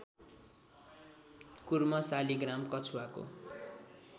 Kurma Shaligram कछुवाको